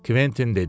Kventin dedi.